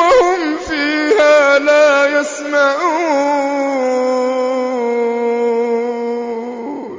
وَهُمْ فِيهَا لَا يَسْمَعُونَ